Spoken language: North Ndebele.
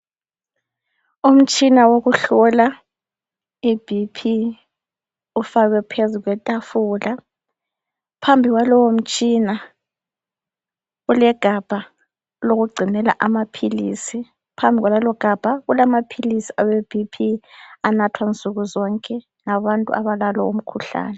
Umtshina wokuhlola ibp ufakwe phezu kwetafula phambi kwalowomtshina, kulegabha lokugcinela amaphilisi, phambili kwaleli gabha kulamaphilisi awebp anathwa nsukuzonke ngabantu abala lomkhuhlane.